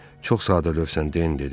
Çox sadəlövsən, Den, dedi.